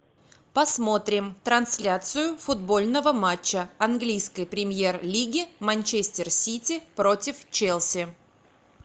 посмотрим трансляцию футбольного матча английской премьер лиги манчестер сити против челси